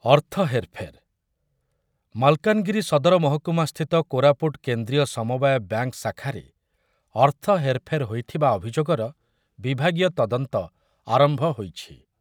ଅର୍ଥ ହେର୍‌ଫେର୍, ମାଲକାନଗିରି ସଦର ମହକୁମା ସ୍ଥିତି କୋରାପୁଟ କେନ୍ଦ୍ରୀୟ ସମବାୟ ବ୍ୟାଙ୍କ୍‌ ଶାଖାରେ ଅର୍ଥ ହେର୍‌ଫେର୍ ହୋଇଥିବା ଅଭିଯୋଗର ବିଭାଗୀୟ ତଦନ୍ତ ଆରମ୍ଭ ହୋଇଛି ।